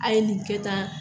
A ye nin kɛ ta